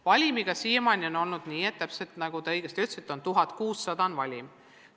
Valimiga on siiamaani olnud täpselt nii, nagu te õigesti ütlesite, et selle suurus on 1600.